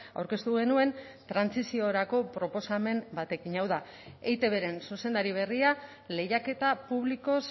aurkeztu genuen trantsiziorako proposamen batekin hau da eitbren zuzendari berria lehiaketa publikoz